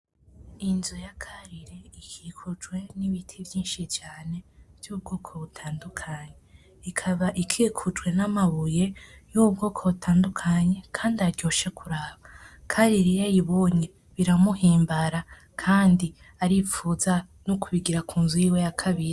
Inzu ya karire ikikujwe n'ibiti vyinshi cane vy'ubwoko butandukanye, ikaba ikikujwe n'amabuye y'ubwoko butandukanye kandi aryoshe kuraba. Karire iy'ayibonye biramuhimbara kandi aripfuza no kubigira ku nzu yiwe ya kabiri.